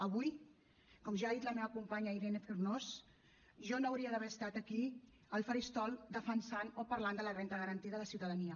avui com ja ha dit la meva companya irene fornós jo no hauria d’haver estat aquí al faristol defensant o parlant de la renda garantida de ciutadania